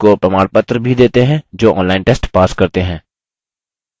उनको प्रमाणपत्र भी देते हैं जो online test pass करते हैं